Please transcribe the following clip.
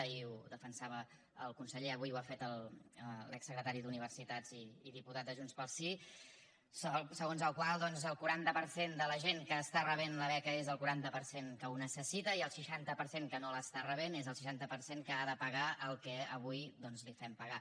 ahir ho defensava el conseller avui ho ha fet l’exsecretari d’universitats i diputat de junts pel sí segons el qual doncs el quaranta per cent de la gent que està rebent la beca és el quaranta per cent que ho necessita i el seixanta per cent que no l’està rebent és el seixanta per cent que ha de pagar el que avui doncs li fem pagar